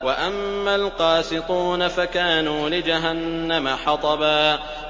وَأَمَّا الْقَاسِطُونَ فَكَانُوا لِجَهَنَّمَ حَطَبًا